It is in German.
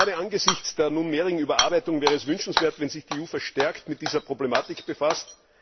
Gerade angesichts der derzeitigen Überarbeitung wäre es wünschenswert, wenn sich die EU verstärkt mit dieser Problematik befasst.